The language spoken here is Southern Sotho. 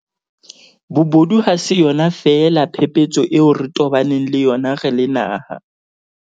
Bobodu ha se yona feela phephetso eo re tobaneng le yona re le naha.